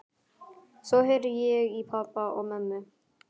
Svo heyri ég í pabba og mömmu.